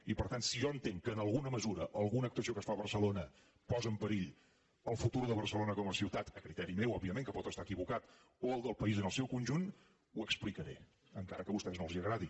i per tant si jo entenc que en alguna mesura alguna actuació que es fa a barcelona posa en perill el futur de barcelona com a ciutat a criteri meu òbviament que pot estar equivocat o el del país en el seu conjunt ho explicaré encara que a vostès no els agradi